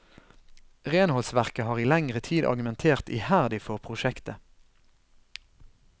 Renholdsverket har i lengre tid argumentert iherdig for prosjektet.